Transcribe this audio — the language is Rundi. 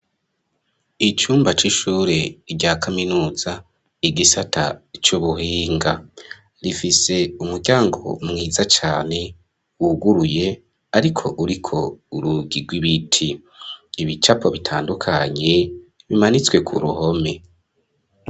Icumba c'ishure rya kaminuza igisata c'ubuhinga, rifise umuryango mwiza cane wuguruye, ariko uriko urugi raw’ibiti ibicapo bitandukanye bimanitswe ku ruhome.